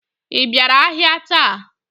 I bịara ahịa taa?